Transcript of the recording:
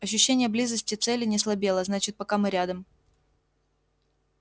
ощущение близости цели не слабело значит пока мы рядом